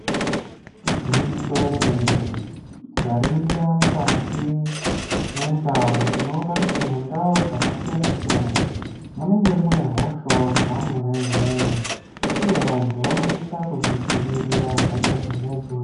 Igwinyiso remene mene. Tikaringira mukati mwendau tinoona kuti mundau dzakasiyana siyana munenge mune hosha wo dzamwo wo imwomwo uye vantu vanosisa kudzidziirira hosha dzona idzodzo.